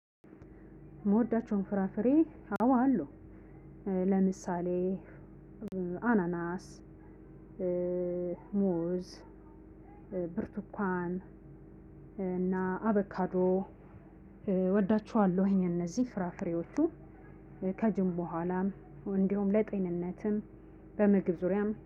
ምወዳቸውን ፍራፍሬ? አዎ አሉ፤ ለምሳሌ አናናስ ሙዝ፣ ብርትኳን እና አቮካዶ እወዳቸዋለሁኝ እነዚህ ፍራፍሬዎቹ፤ ከጅም በኋላም እንዲሁም ለጤንነትም፣ በምግብ ዙሪያም